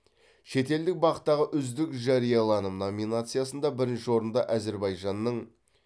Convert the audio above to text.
шетелдік бақ тағы үздік жарияланым номинациясында бірінші орынды әзербайжанның